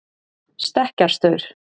stekkjarstaur